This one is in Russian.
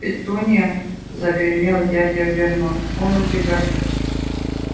петунья загремел дядя вернон он убегает